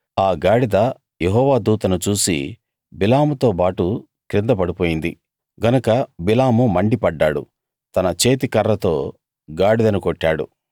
ఆ గాడిద యెహోవా దూతను చూసి బిలాముతోబాటు కింద పడిపోయింది గనక బిలాము మండిపడ్డాడు తన చేతి కర్రతో గాడిదను కొట్టాడు